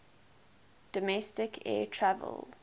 domestic air travel